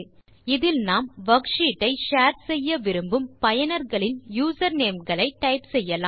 இதில் நாம் வர்க்ஷீட் ஐ ஷேர் செய்ய விரும்பும் பயனர்களின் யூசர்நேம் களை டைப் செய்யலாம்